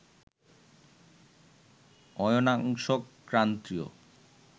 অয়নাংশ ক্রান্তীয়